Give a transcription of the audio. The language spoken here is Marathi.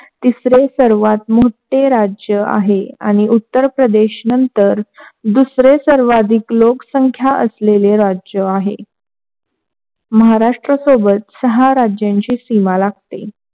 तिसरे सर्वात मोठे राज्य आहे, आणि उत्तर प्रदेश नंतर सर्वाधिक लोक संख्या असलेले राज्य आहे. महाराष्ट्र सोबत सहा राज्याची सीमा लागते.